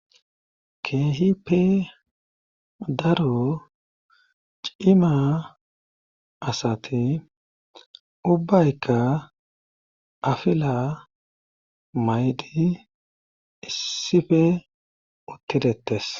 keehippe daro cima asati ubbaykka afila maydi issife uttidettes